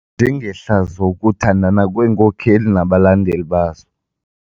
njengehlazo ukuthandana kweenkokeli nabalandeli bazo.